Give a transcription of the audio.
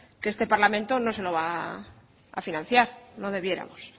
que este parlamento no se lo va a financiar no debiéramos